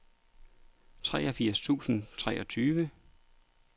treogfirs tusind og treogtyve